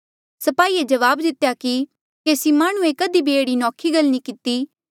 स्पाहिये जवाब दितेया कि केसी माह्णुंऐ कधी भी एह्ड़ी नौखी गल नी किती